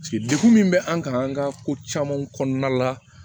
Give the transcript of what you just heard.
dekun min bɛ an kan an ka ko camanw kɔnɔna la